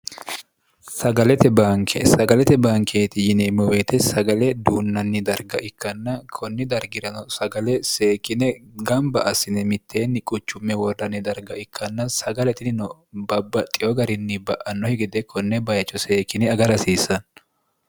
bnksagalete bankeeti yineemmoweete sagale duunnanni darga ikkanna konni dargirano sagale seekine gamba assine mitteenni quchumme wordanni darga ikkanna sagale tinino babba xiyo garinni ba'annohi gede konne bayicho seekine aga rasiissanno